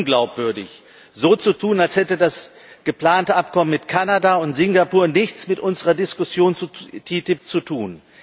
Es wäre unglaubwürdig, so zu tun, als hätte das geplante Abkommen mit Kanada und das mit Singapur nichts mit unserer Diskussion zur TTIP zu tun.